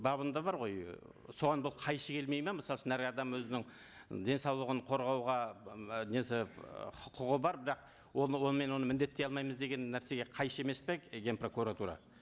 бабында бар ғой ы соған бұл қайшы келмейді ме мысалы үшін әр адам өзінің денсаулығын қорғауға і м несі ы құқығы бар бірақ оны онымен оны міндеттей алмаймыз деген нәрсеге қайшы емес пе ген прокуратура